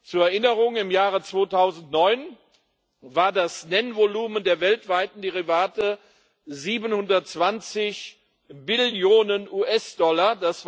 Zur Erinnerung Im Jahre 2009 war das Nennvolumen der weltweiten Derivate 720 Billionen US Dollar